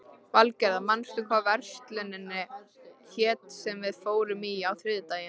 Valgerða, manstu hvað verslunin hét sem við fórum í á þriðjudaginn?